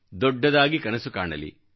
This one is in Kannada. ದೊಡ್ಡದಾಗಿ ಕನಸು ಕಾಣಲಿ